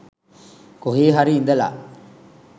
කොහේ හරි ඉඳලා